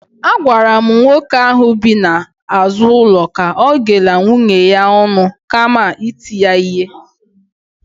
Agwara m nwoke ahụ bi n'azụ ụlọ ka ọ ghela nwunye ya ọnụ kama iti ya ihe